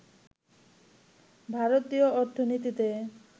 ভারতীয় অর্থনীতিতে